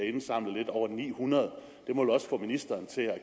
indsamlet lidt over ni hundrede må vel også få ministeren til at